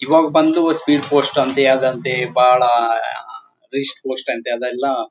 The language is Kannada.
ಇವಾಗ ಬಂದು ಪೋಸ್ಟ್ ಅಂತೇ ಅದು ಅಂತೇ ಬಹಳ ರಿಸ್ಕ್ ಲಿಸ್ಟ್ ಅಂತೇ ಅವೆಲ್ಲಾ--